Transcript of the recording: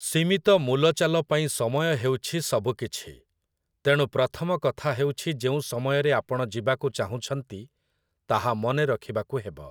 ସୀମିତ ମୂଲଚାଲ ପାଇଁ ସମୟ ହେଉଛି ସବୁକିଛି, ତେଣୁ ପ୍ରଥମ କଥା ହେଉଛି ଯେଉଁ ସମୟରେ ଆପଣ ଯିବାକୁ ଚାହୁଁଛନ୍ତି ତାହା ମନେ ରଖିବାକୁ ହେବ ।